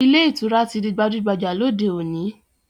Ilé ìtura ti di gbajúgbajà lóde òní